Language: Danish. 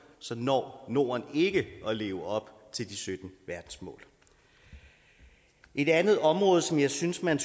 så når norden ikke at leve op til de sytten verdensmål et andet område som jeg synes man